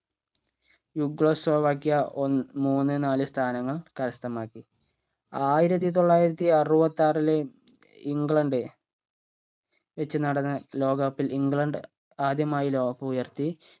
യുഗ്ലോസ്ലോവാക്യ ഒ മൂന്ന് നാല് സ്ഥാനങ്ങൾ കരസ്ഥമാക്കി ആയിരത്തി തൊള്ളായിരത്തി അറുവത്താറിലെ ഇംഗ്ലണ്ട് വെച്ച് നടന്ന ലോക cup ൽ ഇംഗ്ലണ്ട് ആദ്യമായ് ലോക cup ഉയർത്തി